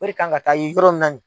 Wori kan ka taa yɔrɔ min na ni